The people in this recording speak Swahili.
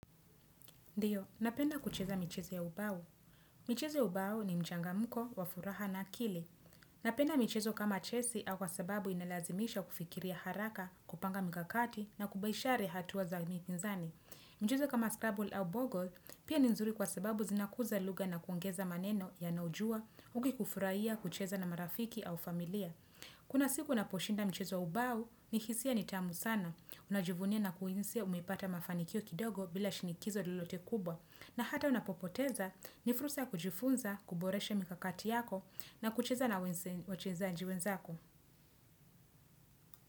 Ndiyo, napenda kucheza michezo ya ubao. Michezo ya ubao ni mchangamko wa furaha na akili. Napenda michezo kama chesi au kwa sababu inalazimisha kufikiria haraka, kupanga mikakati na kubaishare hatua za mipinzani. Michezo kama scrabble au bogol pia ni nzuri kwa sababu zinakuza lugha na kuongeza maneno unayojua uki kufurahia kucheza na marafiki au familia. Kuna siku unaposhinda mchezo ubao ni hisia nitamu sana, unajivunia na kuhisia umipata mafanikio kidogo bila shinikizo lolote kubwa na hata unapopoteza ni fursa ya kujifunza, kuboreshe mikakati yako na kucheza na wachezaji wenzako.